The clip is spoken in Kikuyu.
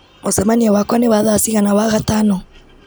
mũcemanio wakwa nĩ wa thaa cigana wagatano